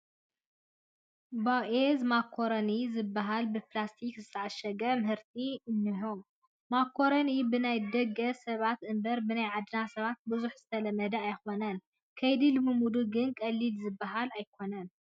ቦኤዝ ማካሮኒ ዝበሃለ ብፕላስቲክ ዝተዓሸገ ምህርቲ እኒሆ፡፡ ማካሮኒ ብናይ ደገ ሰባት እምበር ብናይ ዓድና ሰባት ብዙሕ ዝተለመደ ኣይኮነን፡፡ ከይዲ ልምምዱ ግን ቀሊል ዝበሃል ኣይኮነን፡፡